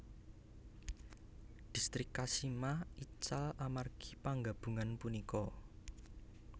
Distrik Kashima ical amargi panggabungan punika